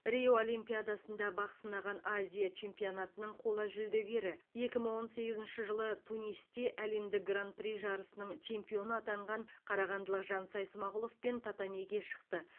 рио олимпиадасында бақ сынаған азия чемпионатының қола жүлдегері екі мың он сегізінші жылы тунисте әлемдік гран при жарысының чемпионы атанған қарағандылық жансай смағұловпен татамиге шықты